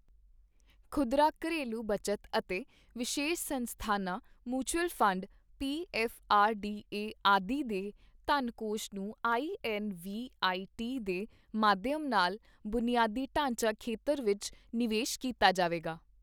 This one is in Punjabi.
ਖੁਦਰਾ ਘਰੇਲੂ ਬਚਤ ਅਤੇ ਵਿਸ਼ੇਸ਼ ਸੰਸਥਾਨਾਂ ਮਿਊਚੱਲ ਫੰਡ, ਪੀਐੱਫਆਰਡੀਏ ਆਦਿ ਦੇ ਧਨ ਕੋਸ਼ ਨੂੰ ਆਈਐੱਨਵੀਆਈਟੀ ਦੇ ਮਾਧਿਅਮ ਨਾਲ ਬੁਨਿਆਦੀ ਢਾਂਚਾ ਖੇਤਰ ਵਿੱਚ ਨਿਵੇਸ਼ ਕੀਤਾ ਜਾਵੇਗਾ।